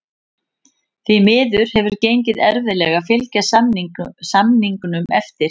Því miður hefur gengið erfiðlega að fylgja samningum eftir.